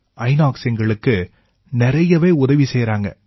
இனாக்ஸ் எங்களுக்கு நிறையவே உதவி செய்யறாங்க